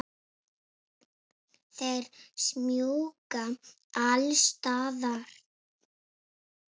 Þeir smjúga alls staðar.